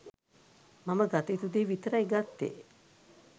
මම ගත යුතු දේ විතරයි ගත්තෙ.